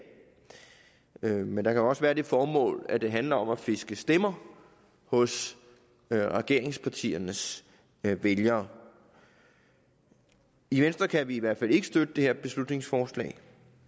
men der kan også være det formål at det handler om at fiske stemmer hos regeringspartiernes vælgere i venstre kan vi i hvert fald ikke støtte det her beslutningsforslag